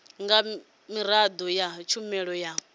nga miraḓo ya tshumelo ya